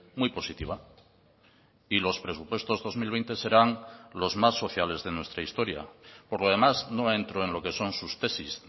muy positiva y los presupuestos dos mil veinte serán los más sociales de nuestra historia por lo demás no entro en lo que son sus tesis